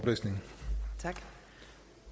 ministeren